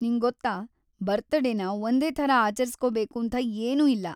ನಿಂಗೊತ್ತಾ, ಬರ್ತಡೇನ ಒಂದೇ ಥರ ಆಚರಿಸ್ಕೊಬೇಕೂಂಥ ಏನೂ ಇಲ್ಲ.